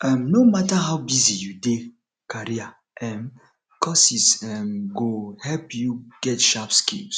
um no matter how busy you dey career um courses um go help you get sharp skills